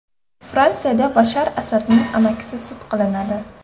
Fransiyada Bashar Asadning amakisi sud qilinadi.